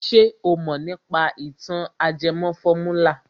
Ṣé o mọ̀ nípa ìtàn ajẹmọ fọ́múlà?